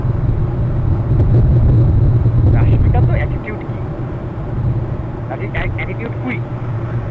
রাস্মিকা তো attitude king ah ah attitude queen